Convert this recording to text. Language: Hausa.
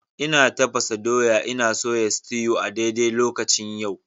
Ina tafasa doya ina soya sutew a daidai lokacin yau.